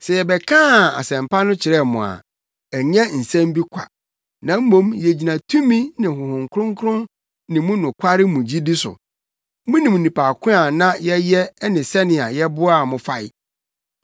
Sɛ yɛbɛkaa Asɛmpa no kyerɛɛ mo a, ɛnyɛ nsɛm bi kwa, na mmom yegyina tumi ne Honhom Kronkron ne mu nokware mu gyidi so. Munim nnipa ko a na yɛyɛ ɛne sɛnea yɛboaa mo fae.